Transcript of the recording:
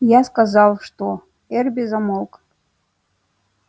я сказал что эрби замолк